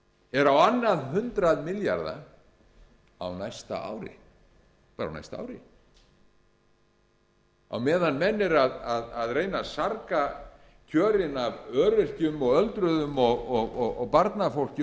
er á annað hundrað milljarða á næsta ári bara á næsta ári á meðan menn eru að reyna að sarga kjörin af öryrkjum öldruðum barnafólki